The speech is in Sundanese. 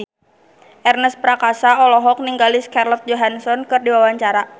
Ernest Prakasa olohok ningali Scarlett Johansson keur diwawancara